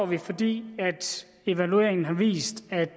vi fordi evalueringen har vist at